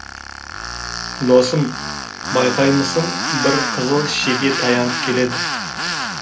досым байқаймысың бір қызыл шеке таянып келеді